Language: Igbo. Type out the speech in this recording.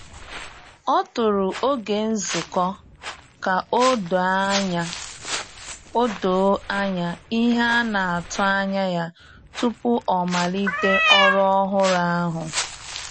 Ọ tụrụ oge nzukọ ka o doo anya o doo anya ihe a na-atụ anya ya tupu ọ malite ọrụ ọhụrụ ahụ.